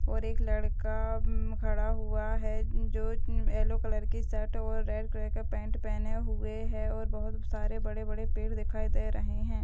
और एक लड़का उम्म खड़ा हुआ है जो एलो कलर का शर्ट और रेड कलर का पैंट पहने हुए है और बोहोत सारे बड़े-बड़े पेड़ दिखाई दे रहें हैं।